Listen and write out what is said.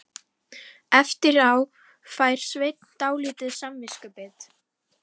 Eftir á fær Svenni dálítið samviskubit.